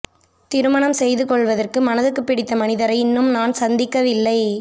திருமணம் செய்து கொள்வதற்கு மனதுக்கு பிடித்த மனிதரை இன்னும் நான் சந்திக்கவில்லை